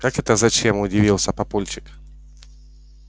как это зачем удивился папульчик